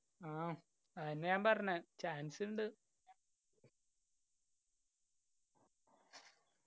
ആ ആയെന്നെ ഞാൻ പറഞ്ഞേ chance ഇണ്ട്.